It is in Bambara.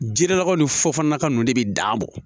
Jirilakaw ni fofana ninnu de bɛ dan a bɔ